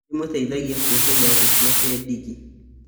Nĩndĩmuteithagia kuoha iratũ ciake ndigi